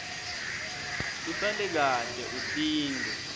usale kahle utinte